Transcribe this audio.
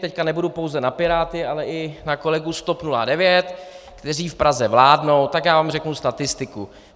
Teď nebudu pouze na Piráty, ale i na kolegu z TOP 09, kteří v Praze vládnou, tak já vám řeknu statistiku.